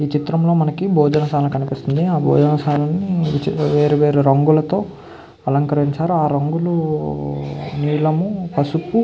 ఈ చిత్రంలో మనకు భోజనశాల కనిపిస్తుంది. ఆ భోజనశాలని వేరు వేరు రంగులతో అలంకరించారు. ఆ రంగులు నీలము పసుపు--